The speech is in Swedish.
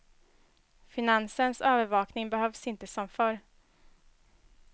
Finansens övervakning behövs inte som förr.